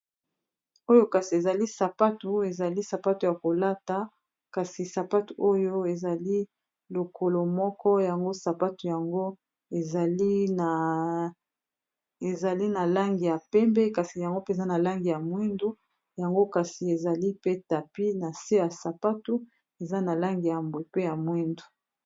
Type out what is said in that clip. Oyo kasi ezali sapatu, ezali sapatu ya kolata kasi sapatu oyo ezali lokolo moko yango sapatu yango ezali na langi ya pembe kasi yango mpe eza na langi ya mwindu yango kasi ezali pe tapi na se ya sapatu eza na langi ya mbwe pe ya mwindu.